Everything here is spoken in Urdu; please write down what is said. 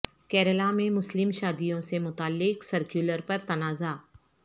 کیرالہ میں مسلم شادیوں سے متعلق سرکولر پر تنازع